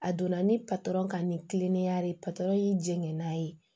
A donna ni patɔrɔn ka ni kiliniya ye y'i jena ye